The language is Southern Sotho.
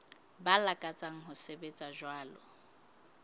ba lakatsang ho sebetsa jwalo